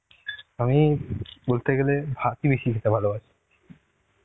আমি বলতে গেলে ভাত ই বেশি খেতে ভালোবাসি.